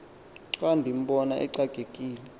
xa ndimbona exakekile